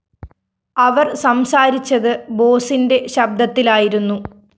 അവര്‍ സംസാരിച്ചത് ബോസിന്റെ ശബ്ദത്തിലായിരുന്നു